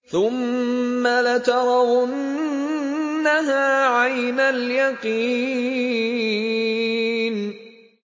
ثُمَّ لَتَرَوُنَّهَا عَيْنَ الْيَقِينِ